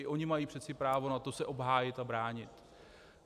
I oni mají přece právo na to se obhájit a bránit.